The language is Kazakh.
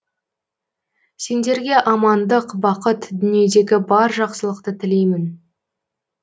сендерге амандық бақыт дүниедегі бар жақсылықты тілеймін